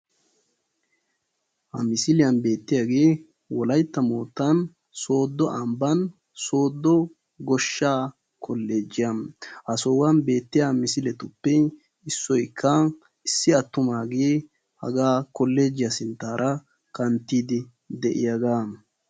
ha missiliyan beetiyage wolaytta moottan soddo ambani sodo goshsha kollogiya ha sohuwan beetiyagekka issi attumage haga kollogiya sinttara kanttidi de"iyaga.